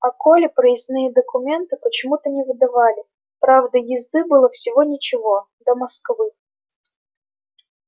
а коле проездные документы почему-то не выдавали правда езды было всего ничего до москвы